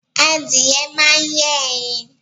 Adìẹ máa ń yé ẹyin.